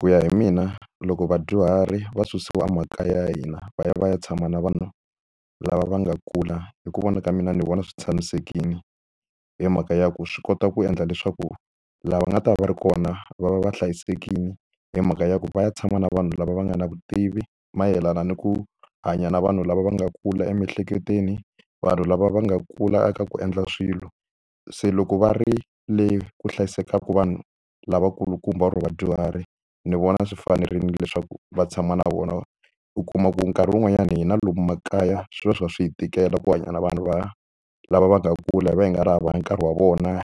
Ku ya hi mina loko vadyuhari va susiwa emakaya ya hina va ya va ya tshama na vanhu lava va nga kula hi ku vona ka mina ni vona swi tshamisekile hi mhaka ya ku swi kota ku endla leswaku lava nga ta va ri kona va va va hlayisekile hi mhaka ya ku va ya tshama na vanhu lava va nga na vutivi mayelana ni ku hanya na vanhu lava va nga kula emiehleketweni vanhu lava va nga kula ka ku endla swilo se loko va ri le ku hlayisekaka vanhu lavakulukumba or vadyuhari ni vona swi fanerile leswaku va tshama na vona u kuma ku nkarhi wun'wanyani hi na lomu makaya swi va swi va swi hi tikela ku hanya na vanhu va lava va nga kula hi va hi nga ri hava hi nkarhi wa vona